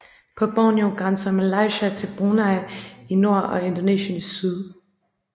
På Borneo grænser Malaysia til Brunei i nord og Indonesien i syd